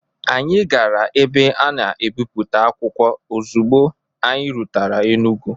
Anyị gara ebe ana ebipụta akwụkwọ ozigbo anyị rutere Enugwu.